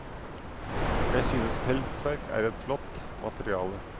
Jeg synes pelsverk er et flott materiale.